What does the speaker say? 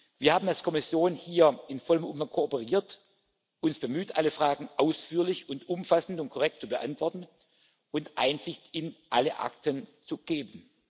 Wir haben als Kommission hier in vollem Umfang kooperiert, uns bemüht, alle Fragen ausführlich und umfassend und korrekt zu beantworten und Einsicht in alle Akten zu geben.